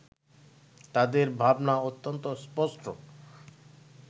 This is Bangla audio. তাদের ভাবনা অত্যন্ত স্পষ্ট